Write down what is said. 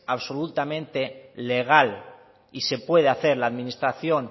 absolutamente legal y se puede hacer la administración